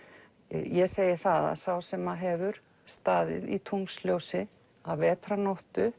ég segi það að sá sem hefur staðið í tunglsljósi að